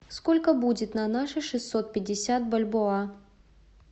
сколько будет на наши шестьсот пятьдесят бальбоа